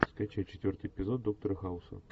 скачай четвертый эпизод доктора хауса